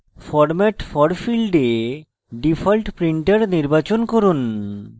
format for ফীল্ডে default printer নির্বাচন করুন